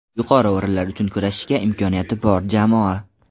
Yuqori o‘rinlar uchun kurashishga imkoniyati bor jamoa.